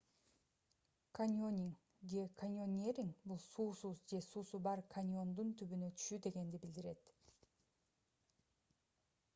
каньонинг же: каньонеринг — бул суусуз же суусу бар каньондун түбүнө түшүү дегенди билдирет